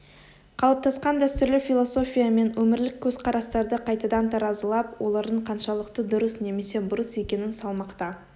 қалыптасқан дәстүрлі философия мен өмірлік көзқарастарды қайтадан таразылап олардың қаншалықты дұрыс немесе бұрыс екенін салмақта